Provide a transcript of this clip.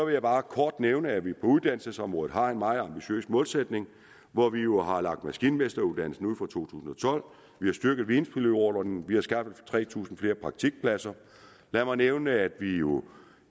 jeg bare kort nævne at vi på uddannelsesområdet har en meget ambitiøs målsætning hvor vi jo og har lagt maskinmesteruddannelsen ud vi har styrket videnpilotordningen vi har skaffet tre tusind flere praktikpladser lad mig nævne at vi jo